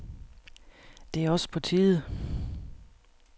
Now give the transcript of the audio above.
Det er også på tide.